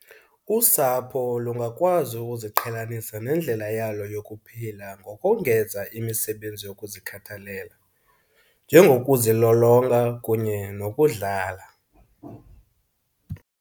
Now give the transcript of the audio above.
Usapho lungakwazi ukuziqhelanisa nendlela yalo yokuphila ngokongeza imisebenzi yokuzikhathalela, njengokuzilolonga kunye nokudlala.